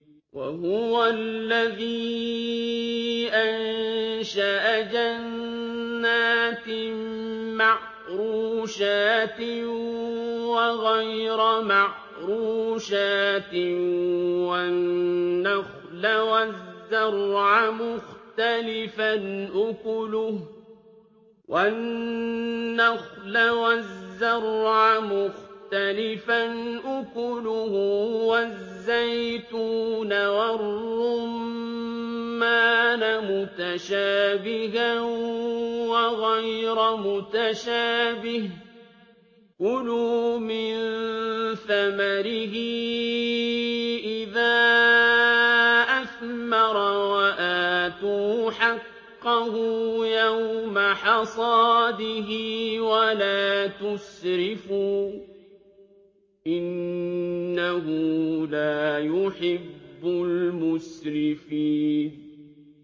۞ وَهُوَ الَّذِي أَنشَأَ جَنَّاتٍ مَّعْرُوشَاتٍ وَغَيْرَ مَعْرُوشَاتٍ وَالنَّخْلَ وَالزَّرْعَ مُخْتَلِفًا أُكُلُهُ وَالزَّيْتُونَ وَالرُّمَّانَ مُتَشَابِهًا وَغَيْرَ مُتَشَابِهٍ ۚ كُلُوا مِن ثَمَرِهِ إِذَا أَثْمَرَ وَآتُوا حَقَّهُ يَوْمَ حَصَادِهِ ۖ وَلَا تُسْرِفُوا ۚ إِنَّهُ لَا يُحِبُّ الْمُسْرِفِينَ